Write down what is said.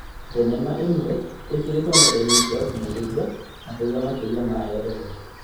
Thenema ĩmwe ĩkĩrĩtwo nenda-inĩ cia ũkinyanĩria na kũgĩa makiri ma eroreri